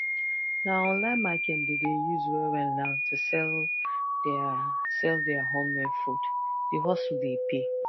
na online market dem dey use wellwell now to sell their sell their homemade food the hustle dey pay